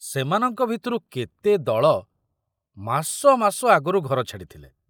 ସେମାନଙ୍କ ଭିତରୁ କେତେ ଦଳ ମାସ ମାସ ଆଗରୁ ଘର ଛାଡ଼ିଥିଲେ।